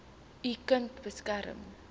u kind beskerm